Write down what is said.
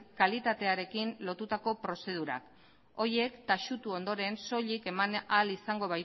kalitatearekin lotutako prozedurak horiek taxutu ondoren soilik eman ahal izango